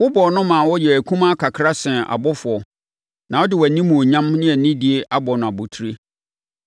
Wobɔɔ no maa ɔyɛɛ akumaa kakra sene abɔfoɔ; na wode wʼanimuonyam ne anidie abɔ no abotire,